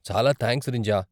చాలా థాంక్స్ రింజా.